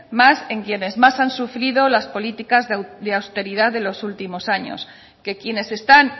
más en quienes más han sufrido las políticas de austeridad de los últimos años que quienes están